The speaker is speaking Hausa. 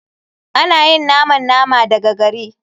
Ana yin naman nama daga gari.